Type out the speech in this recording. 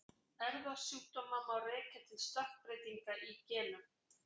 Erfðasjúkdóma má rekja til stökkbreytinga í genum.